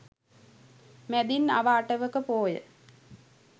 මැදින් අව අටවක පෝය